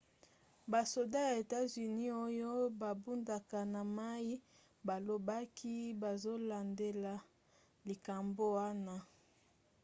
basoda ya etats-unis oyo babundaka na mai balobaki bazolandela likambo wana